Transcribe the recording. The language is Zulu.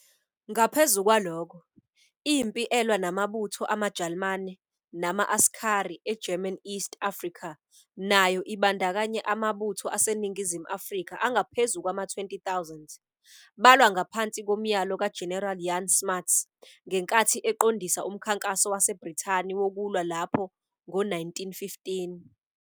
Ngaphezu kwalokho, impi elwa namabutho amaJalimane nama- Askari eGerman East Africa nayo ibandakanye amabutho aseNingizimu Afrika angaphezu kwama-20 000, balwa ngaphansi komyalo kaGeneral Jan Smuts ngenkathi eqondisa umkhankaso waseBrithani wokulwa lapho ngo-1915.